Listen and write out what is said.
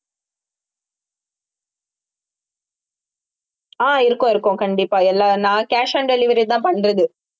ஆஹ் இருக்கும் இருக்கும் கண்டிப்பா எல்லா நான் cash on delivery தான் பண்றது